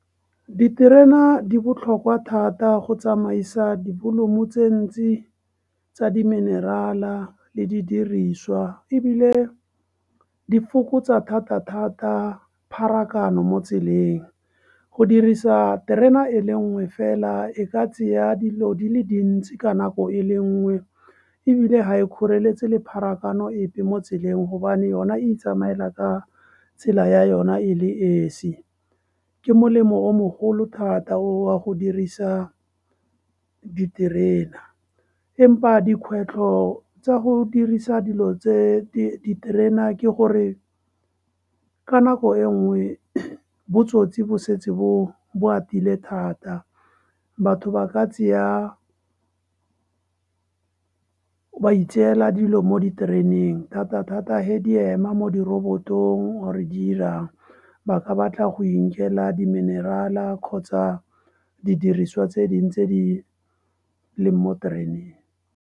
Diterena di botlhokwa thata go tsamaisa dipoloma tse dintsi tsa diminerala le di diriswa, ebile di fokotsa thata-thata pharakano mo tseleng, go dirisa terena e le nngwe fela e ka tseya dilo di le dintsi ka nako e le nngwe ebile ga e kgoreletsi le pharakano epe mo tseleng hobane yona itsamela ka tsela ya yona e le esi, ke molemo o mogolo thata o a go dirisa diterena empa dikgwetlho tsa go dirisa dilo tse diterena ke gore ka nako e nngwe botsotsi bo setse bo atile thata. Batho ba itseela dilo mo ditereneng thata-thata he di ema mo direkotong or-e di 'irang, ba ka batla go inkela diminerala kgotsa didiriswa tse di tse di leng mo tereneng.